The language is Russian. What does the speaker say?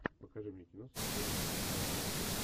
покажи мне кино с актером эдвардом нортоном